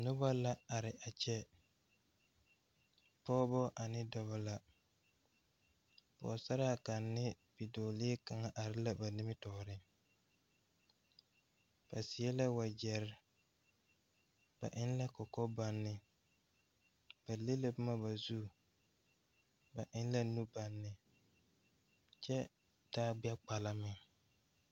Nobɔ la are a kyɛ pɔɔbɔ ane dɔbɔ la pɔɔsaraa kaŋ ne bidɔɔlee kaŋa are la ba nimitooreŋ ba seɛ la wagyɛrre ba eŋ la kɔkɔbɔnne ba le la bomma ba zu ba eŋ la nu bɔnne kyɛ taa gbɛ kpala meŋ.